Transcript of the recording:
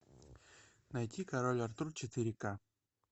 найти король артур четыре к